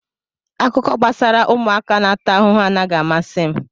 Akụkọ gbasara ụmụaka na-ata ahụhụ anaghị amasị m